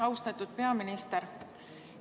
Austatud peaminister!